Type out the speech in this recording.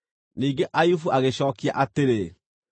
Ningĩ Ayubu agĩcookia atĩrĩ: